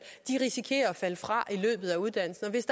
risikerer at falde fra i løbet af uddannelsen og hvis